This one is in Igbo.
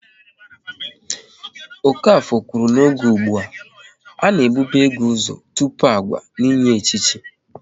Okafor kwuru n'oge ụgbụa, a na e bube ego ụzọ tụpụ agwa n'inye echichi